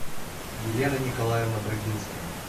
елена николаевна брагинская